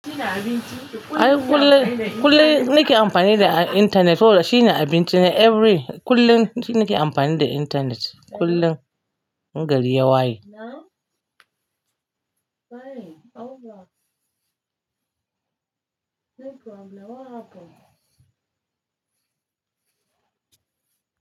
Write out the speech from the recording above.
Shi ne abinci? Ai kullum, kullum nake amfani da internet. Saboda shi ne abinci na every, kullum shi nake amfani da internet. Kullum, gari ya waye. Na? Fine, over. No problem, what happened?